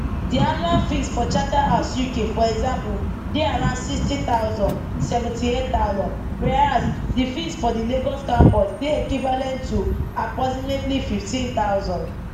di annual fees for charterhouse uk for example dey around sixty thousand seventy eight thousand whereas di fees for di lagos campus dey equivalent to approximately fifteen thousand